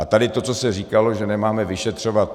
A tady to, co se říkalo, že nemáme vyšetřovat.